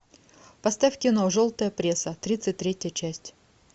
поставь кино желтая пресса тридцать третья часть